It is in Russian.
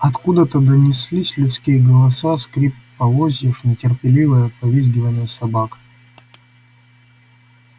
откуда-то доносились людские голоса скрип полозьев нетерпеливое повизгивание собак